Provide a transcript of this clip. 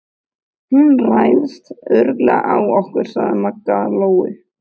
Hún ræðst örugglega á okkur, sagði Maggi Lóu.